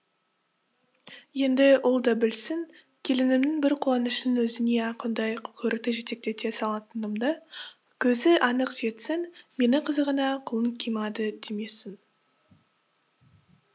енді ол да білсін келінімнің бір қуанышының өзіне ақ ондай қылқұйрықты жетектете салатынымды көзі анық жетсін мені қызығына құлын қимады демесін